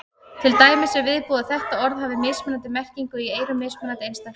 Til dæmis er viðbúið að þetta orð hafi mismunandi merkingu í eyrum mismunandi einstaklinga.